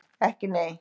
Ekki nei?